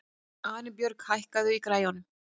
Arinbjörg, hækkaðu í græjunum.